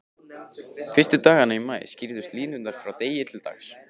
Fyrstu dagana í maí skýrðust línur frá degi til dags.